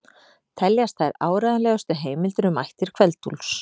Teljast þær áreiðanlegustu heimildir um ættir Kveld-Úlfs.